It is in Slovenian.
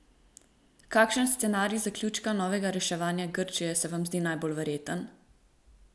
Kakšen scenarij zaključka novega reševanja Grčije se vam zdi najbolj verjeten?